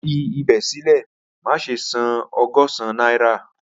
Fi ibẹ silẹ, maṣe san ọgọ́sán naira